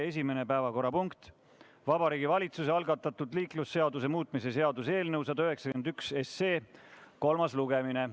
Esimene päevakorrapunkt: Vabariigi Valitsuse algatatud liiklusseaduse muutmise seaduse eelnõu 191 kolmas lugemine.